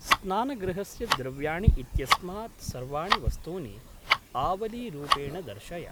स्नानगृहस्य द्रव्याणि इत्यस्मात् सर्वाणि वस्तूनि आवलीरूपेण दर्शय।